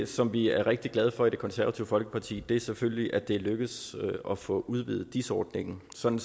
som vi er rigtig glade for i det konservative folkeparti er selvfølgelig at det er lykkedes at få udvidet dis ordningen sådan